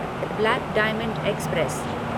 black diamond express